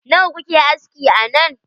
Nawa kuke aski a nan?